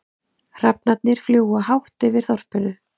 Hrafnarnir fljúga hátt yfir þorpinu.